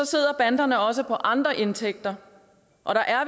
sidder banderne også på andre indtægter og der er